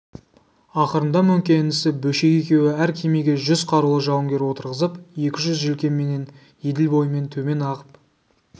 ақырында мөңке інісі бөшек екеуі әр кемеге жүз қарулы жауынгер отырғызып екі жүз желкенменен еділ бойымен төмен ағып